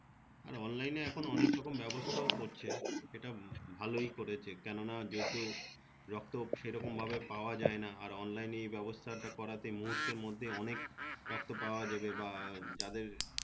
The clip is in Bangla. অনলাইনে এখন অনেক রকম ব্যবস্থাও করছে সেটা ভালোই করেছে কেনো না যত রক্ত সে রকম ভাবে পাওয়া যায় না আর অনলাইনে এই ব্যবস্থা করাতে মুহুতের মধ্যে অনেক রক্ত পাওয়া যাবে বা যাদের